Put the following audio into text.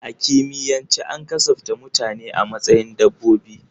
A kimiyyance an kasafta mutane a matsayin dabbobi.